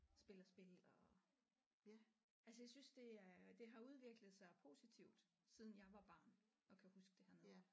Spiller spil og altså jeg synes det er det har udviklet sig positivt siden jeg var barn og kan huske det hernede